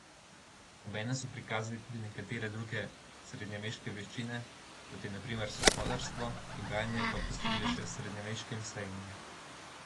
Obenem so prikazali tudi nekatere druge srednjeveške veščine, kot je na primer sokolarstvo, dogajanje pa popestrili še s srednjeveškim sejmom.